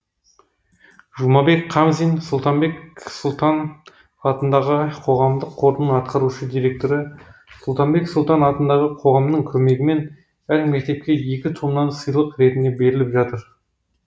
жұмабек қамзин сұлтанбет сұлтан атындағы қоғамдық қордың атқарушы директоры сұлтанбет сұлтан атындағы қоғамның көмегімен әр мектепке екі томнан сыйлық ретінде беріліп жатыр